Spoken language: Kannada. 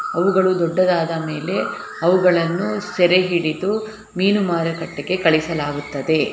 ಅವುಗಳು ದೊಡ್ಡದಾದ ಮೇಲೆ ಅವುಗಳನ್ನು ಸೆರೆ ಹಿಡಿದು ಮೀನು ಮಾರುಕಟ್ಟೆಗೆ ಕಳಿಸಲಾಗುತ್ತದೆ.